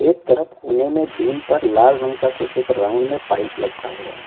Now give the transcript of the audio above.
एक तरप कोने में बीम पर लाल रंग का कुछ एक राउंड में पाइप लपटा हुआ है।